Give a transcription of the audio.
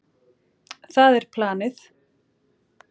Það er planið.